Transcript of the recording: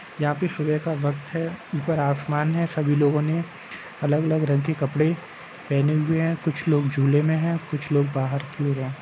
यहाँ पे सुबह का वक्त है। ऊपर आसमान है सभी लोगों ने अलग-अलग रंग के कपड़े पहने हुए हैं। कुछ लोग झूले में हैं। कुछ लोग बाहर की ओर हैं।